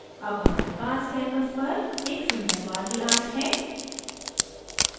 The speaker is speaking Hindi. अब हमारे पास canvas पर एक सुन्दर warli art है